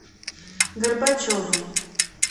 горбачевым